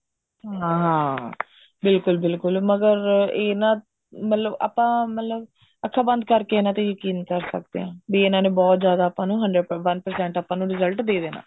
ਹਾਂ ਬਿਲਕੁਲ ਬਿਲਕੁਲ ਮਗਰ ਇਹ ਮਤਲਬ ਇਹ ਨਾ ਮਤਲਬ ਆਪਾਂ ਮਤਲਬ ਅੱਖਾ ਬੰਦ ਕਰਕੇ ਇਹਨਾ ਤੇ ਯਕੀਨ ਕਰ ਸਕਦੇ ਹਾਂ ਵੀ ਇਹਨਾ ਨੇ ਬਹੁਤ ਜਿਆਦਾ ਆਪਾਂ ਨੂੰ hundred one percent ਆਪਾਂ ਨੂੰ result ਦੇ ਦੇਣਾ